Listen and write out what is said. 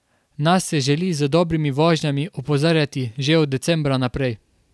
Nase želi z dobrimi vožnjami opozarjati že od decembra naprej.